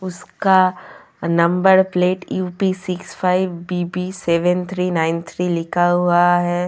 उसका number plate U P six five B B seven three nine three लिखा हुआ है।